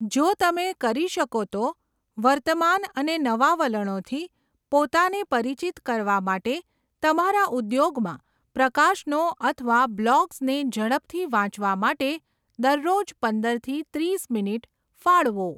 જો તમે કરી શકો તો, વર્તમાન અને નવા વલણોથી પોતાને પરિચિત કરવા માટે તમારા ઉદ્યોગમાં પ્રકાશનો અથવા બ્લોગ્સને ઝડપથી વાંચવા માટે દરરોજ પંદરથી ત્રીસ મિનિટ ફાળવો.